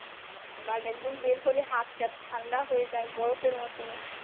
But একদম বের হলে হাত থাত ঠান্ডা হয়ে যাই বরফের মত।